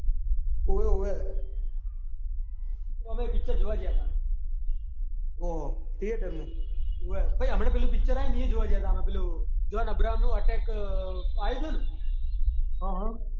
ઓવે ઓવે. અમે એ પિક્ચર જોવા ગયા હતા થિયેટરમાં. ઓવે. પેલું પિક્ચર આયુ ને એય જોવા ગયા હતા જોન અબ્રાહમ નું એટેક આવ્યું હતું ને. હ હ.